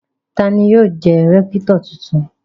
Ta ni yóò jẹ́ rẹ́kítọ̀ tuntun?